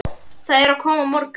Það er að koma morgunn